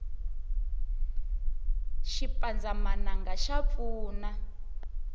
xipandzamananga xa pfuna